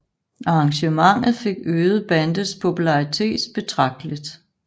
Arrangementet fik øget bandets popularitet betragteligt